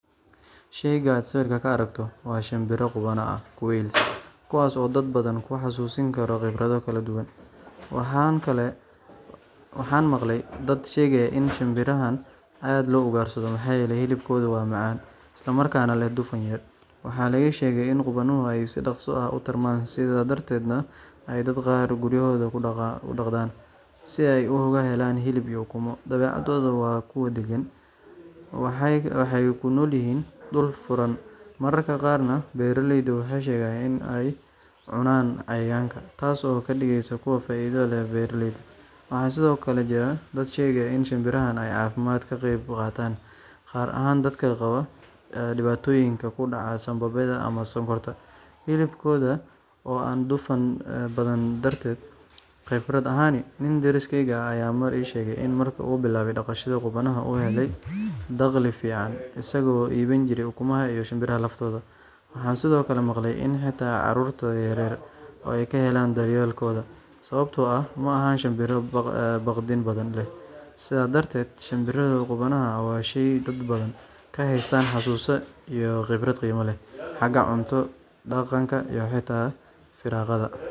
Shayga aad sawirka ka aragto waa shinbiraha qubanaha ah quails kuwaas oo dad badan ku xasuusin kara khibrado kala duwan. Waxaan maqlay dad sheegaya in shinbirahan aad loo ugaarsado maxaa yeelay hilibkooda waa macaan, isla markaana leh dufan yar. Waxaa la ii sheegay in qubanuhu ay si dhaqso ah u tarmaan, sidaas darteedna ay dadka qaar guryahooda ku dhaqdaan si ay uga helaan hilib iyo ukumo. Dabeecaddooda waa kuwo degan, waxay ku noolyihiin dhul furan, mararka qaarna beeraleydu waxay sheegaan in ay cunaan cayayaanka, taas oo ka dhigaysa kuwo faa'iido leh beeraleyda. Waxaa sidoo kale jira dad sheegaya in shinbirahan ay caafimaadka ka qeyb qaataan, gaar ahaan dadka qaba dhibaatooyinka ku dhaca sambabada ama sonkorta, hilibkooda oo aan dufan badnayn darteed. Khibrad ahaan, nin deriskeyga ahaa ayaa mar ii sheegay in markii uu bilaabay dhaqashada qubanaha uu helay dakhli fiican isagoo iibin jiray ukumaha iyo shinbiraha laftooda. Waxaan sidoo kale maqlay in xitaa carruurta yar yar ay ka heleen daryeelkooda, sababtoo ah ma aha shinbiro baqdin badan leh. Sidaas darteed, shinbiraha qubanaha ah waa shay dad badan ka haystaan xusuus iyo khibrado qiimo leh—xagga cunto, dhaqaalaha iyo xitaa firaaqada.